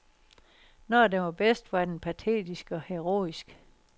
Når den var bedst, var den patetisk og heroisk.